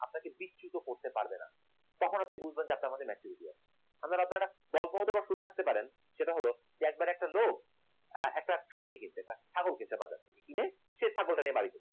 আপনাকে বিক্ষিপ্ত করতে পারবে না তখন আপনি বুঝবেন আপনার মতো maturity আছে আমার আপনারা হয়তো গল্প শুনে থাকতে পারেন সেটা হল যে একবার একটা লোক একটা খাসি কিনছে একটা ছাগল কিনছে বাজারে কিনে সে ছাগলটাকে নিয়ে বাড়ি গেল